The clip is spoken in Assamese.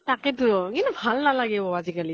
তাকে টো। কিন্তু ভাল নালাগে অ আজি কালি